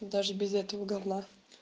даже без этого гавна